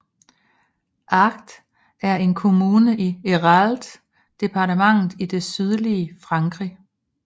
Agde er en kommune i Hérault departmentet i det sydlige Frankrig